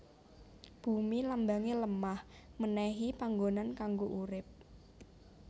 Bumi Lambange lemah menehi panggonan kanggo urip